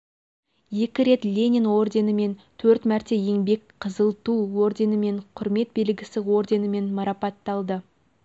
екі рет ленин орденімен төрт мәрте еңбек қызыл ту орденімен құрмет белгісі орденімен марапатталды